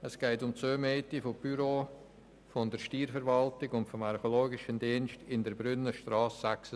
Es geht um die Zumiete von Büros für die Steuerverwaltung und den Archäologischen Dienst an der Brünnenstrasse 66.